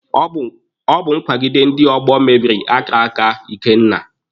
Ọ bụ nkwagide ndị ọgbọ mebiri akara aka Ikenna.